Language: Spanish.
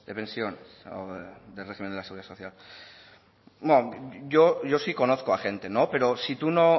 de pensiones o del régimen de la seguridad social yo sí conozco a gente pero si tú